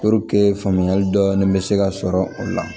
faamuyali dɔɔnin be se ka sɔrɔ o la